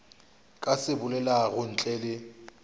ka se bolelago ntle le